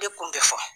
De kun bɛ fɔ